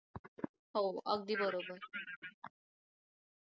हो अगदी बरोबर